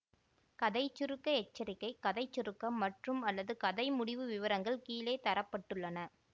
கதை சுருக்க எச்சரிக்கை கதை சுருக்கம் மற்றும்அல்லது கதை முடிவு விவரங்கள் கீழே தர பட்டுள்ளன